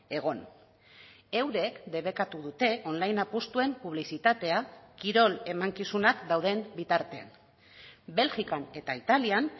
egon eurek debekatu dute online apustuen publizitatea kirol emankizunak dauden bitartean belgikan eta italian